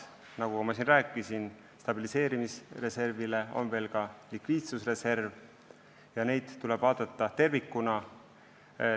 Nagu ma siin rääkisin, on meil lisaks stabiliseerimisreservile veel likviidsusreserv ja neid tuleb vaadata tervikuna.